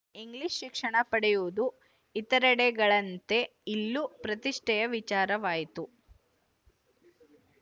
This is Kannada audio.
ಇಂಗ್ಲಿಶ ಶಿಕ್ಷಣ ಪಡೆಯುವುದು ಇತರೆಡೆಗಳಂತೆ ಇಲ್ಲೂ ಪ್ರತಿಷ್ಠೆಯ ವಿಚಾರವಾಯಿತು